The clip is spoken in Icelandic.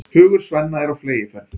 Hugur Svenna er á fleygiferð.